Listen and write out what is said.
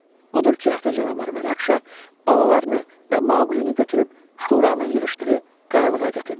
Odur ki, ata canavar Rakşa balalarını və Maqulini götürüb şuranın yığışdığı qayalığa gətirdi.